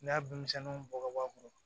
N'i y'a binmisɛnninw bɔ ka bɔ a kɔrɔ